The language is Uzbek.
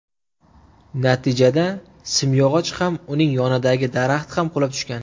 Natijada simyog‘och ham, uning yonidagi daraxt ham qulab tushgan.